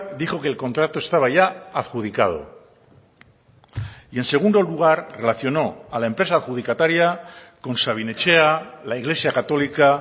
dijo que el contrato estaba ya adjudicado y en segundo lugar relacionó a la empresa adjudicataria con sabin etxea la iglesia católica